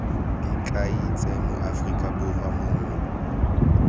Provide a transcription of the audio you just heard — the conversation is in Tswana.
dikai tse moaforika borwa mongwe